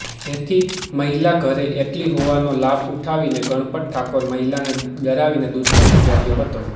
જેથી મહિલા ઘરે એકલી હોવાનો લાભ ઉઠાવીને ગણપત ઠાકોર મહિલાને ડરાવીને દુષ્કર્મ ગુર્જાયો હતો